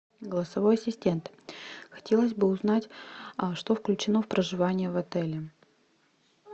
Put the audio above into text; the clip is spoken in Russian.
голосовой ассистент хотелось бы узнать что включено в проживание в отеле